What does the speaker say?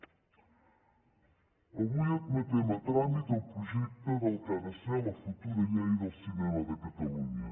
avui admetem a tràmit el projecte del que ha de ser la futura llei del cinema de catalunya